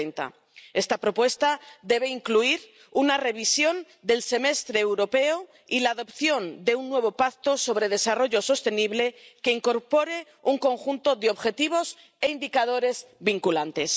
2030. Esta propuesta debe incluir una revisión del Semestre Europeo y la adopción de un nuevo pacto sobre desarrollo sostenible que incorpore un conjunto de objetivos e indicadores vinculantes.